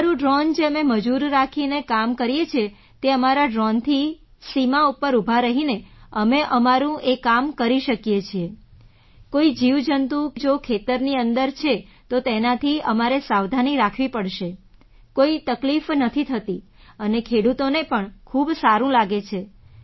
અમારું ડ્રૉન જે અમે મજૂર રાખીને કામ કરીએ છીએ તે અમારા ડ્રૉનથી સીમા ઉપર ઊભા રહીને અમે અમારું એ કામ કરી શકીએ છીએ કોઈ જીવજંતુ જો ખેતરની અંદર છે તો તેનાથી અમારે સાવધાની રાખવી પડશે કોઈ તકલીફ નથી થતી અને ખેડૂતોને પણ ખૂબ જ સારું લાગે છે